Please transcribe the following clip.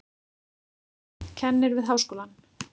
Kennir við háskólann.